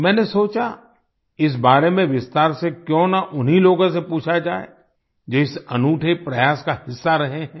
मैंने सोचा इस बारे में विस्तार से क्यों न उन्हीं लोगों से पूछा जाए जो इस अनूठे प्रयास का हिस्सा रहे हैं